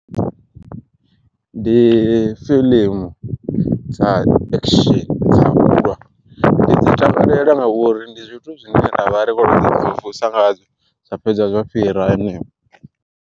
Ndi fiḽimu dza akisheni dza ulwa, ndi dzi takalela ngauri ndi zwithu zwine ra vha ri khou ḓi mvumvusa ngazwo zwa fhedza zwa fhira.